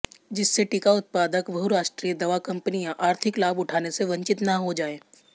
जिससे टीका उत्पादक बहुराष्ट्रीय दवा कंपनियां आर्थिक लाभ उठाने से वंचित न हो जाएं